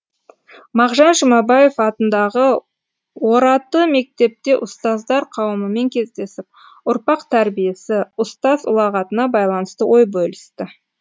мағжан жұмабаев атындағы ораты мектепте ұстаздар қауымымен кездесіп ұрпақ тәрбиесі ұстаз ұлағатына байланысты ой бөлісті